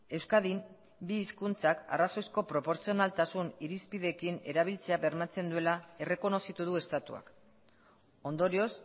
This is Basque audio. euskadin bi hizkuntzak arrazoizko proportzionaltasun irizpideekin erabiltzea bermatzen duela errekonozitu du estatuak ondorioz